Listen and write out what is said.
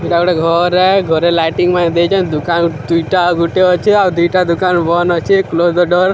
ଇଟା ଗୁଟେ ଘରେ ଘରେ ଲାଇଟିଙ୍ଗ୍ ମାନେ ଦେଇଚନ୍ତ ଦୁକାନ୍ ଦୁଇଟା ଗୁଟେ ଅଛେ ଅଉ ଦିଇଟା ଦୁକାନ୍ ବନ୍ ଅଛେ କ୍ଲୋଜ୍ ଡଲ୍ ।